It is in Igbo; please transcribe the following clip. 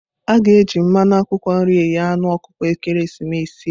A ga-eji mmanụ akwụkwọ nri eghe anu ọkụkọ ekeresimesi a.